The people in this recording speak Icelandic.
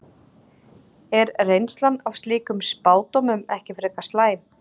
Er reynslan af slíkum spádómum ekki frekar slæm?